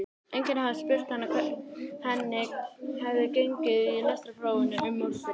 Enginn hafði spurt hana hvernig henni hefði gengið í lestrarprófinu um morguninn.